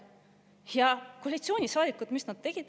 Ja mida tegid koalitsioonisaadikud?